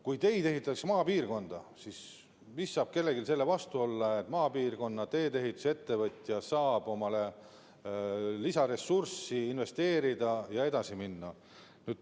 Kui teid ehitatakse maapiirkonda, siis mis saab kellelgi selle vastu olla, et maapiirkonna teedeehitusettevõtja saab lisaressurssi investeerida ja edasi minna?